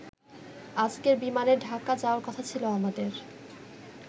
আজকের বিমানে ঢাকা যাওয়ার কথা ছিল আমাদের।